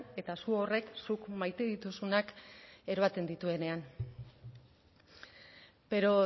eta su horrek zuk maite dituzunak eroaten dituenean pero